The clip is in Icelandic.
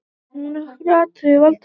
Nokkur atriði valda því.